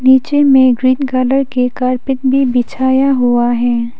नीचे में green colour के कारपेट भी बिछाया हुआ है।